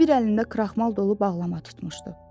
O bir əlində kraxmal dolu bağlama tutmuşdu.